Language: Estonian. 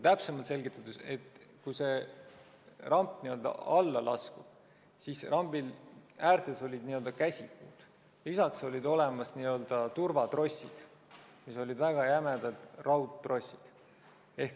Täpsemalt selgitades, rambi äärtes olid käsipuud, lisaks olid olemas turvatrossid, väga jämedad raudtrossid.